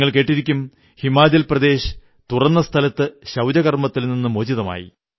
നിങ്ങൾ കേട്ടിരിക്കും ഹിമാചൽ പ്രദേശ് തുറന്ന സ്ഥലത്തെ വിസർജനത്തിൽനിന്ന് മോചിതമായി